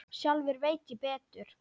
Sjálfur veit ég betur.